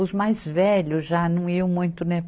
Os mais velhos já não iam muito, né?